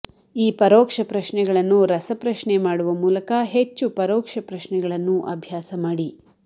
ಈ ಪರೋಕ್ಷ ಪ್ರಶ್ನೆಗಳನ್ನು ರಸಪ್ರಶ್ನೆ ಮಾಡುವ ಮೂಲಕ ಹೆಚ್ಚು ಪರೋಕ್ಷ ಪ್ರಶ್ನೆಗಳನ್ನು ಅಭ್ಯಾಸ ಮಾಡಿ